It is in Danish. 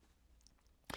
DR K